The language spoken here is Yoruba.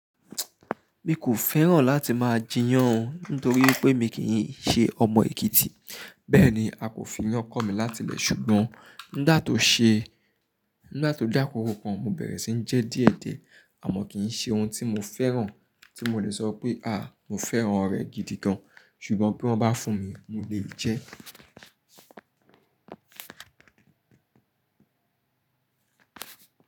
Mi kò fẹ́ràn láti máa jiyàn, nítorí pé mi kì í ṣe ọmọ Èkìtì. Bẹ́ẹ̀ni, a kò fi iyan kọ mi láti ilè, ṣùgbọ́n nígbà tó ṣe, nígbà tó dé àkókò kan, mo bẹ̀rẹ̀ síí jẹ díẹ̀ díẹ̀. Àmọ́ kì í ṣe ohun tí mo fẹ́ràn, tí mo lè sọ pé, "à, mo fẹ́ràn rẹ́ gidi gan." ṣùgbọ́n bí wọ́n bá fún mi, mo lè jẹ.